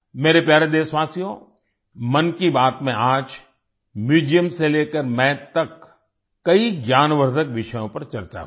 मेरे प्यारे देशवासियो मन की बात में आज म्यूजियम से लेकर माथ तक कई ज्ञानवर्धक विषयों पर चर्चा हुई